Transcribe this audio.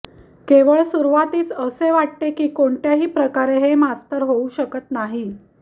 केवळ सुरुवातीसच असे वाटते की कोणत्याही प्रकारे हे मास्तर होऊ शकत नाही